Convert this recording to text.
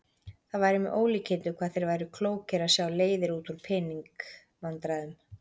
Það væri með ólíkindum hvað þeir væru klókir að sjá leiðir út úr pening- vandræðum.